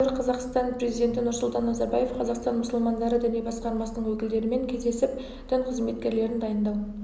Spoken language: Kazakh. астана сәуір қаз қазақстан президенті нұрсұлтан назарбаев қазақстан мұсылмандары діни басқармасының өкілдерімен кездесіп дін қызметкерлерін дайындау